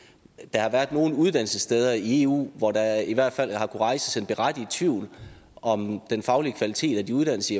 har været nogle uddannelsessteder i eu hvor der i hvert fald har kunnet rejses en berettiget tvivl om den faglige kvalitet og de uddannelser